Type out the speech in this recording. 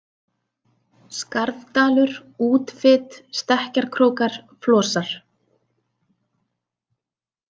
Skarðdalur, Útfit, Stekkjarkrókar, Flosar